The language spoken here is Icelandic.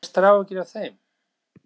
Helga: Hafið þið mestar áhyggjur af þeim?